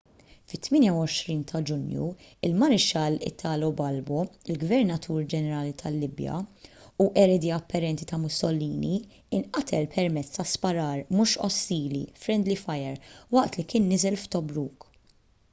fit-28 ta’ ġunju il-marixxall italo balbo il-gvernatur ġenerali tal-libja u eredi apparenti ta’ mussolini inqatel permezz ta’ sparar mhux ostili friendly fire” waqt li kien niżel f’tobruk